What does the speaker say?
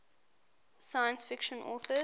science fiction authors